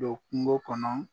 Don kungo kɔnɔ